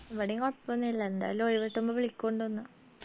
ഇവിടെയും കൊഴപ്പൊന്നുല്ല എന്തായാലും ഒഴിവ് വിളിക്കൊന്നുണ്ട്